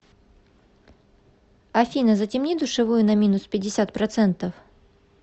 афина затемни душевую на минус пятьдесят процентов